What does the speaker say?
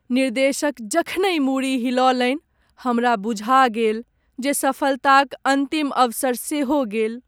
निर्देशक जखनहि मूड़ी हिलौलनि, हमरा बुझा गेल जे सफलताक अन्तिम अवसर सेहो गेल।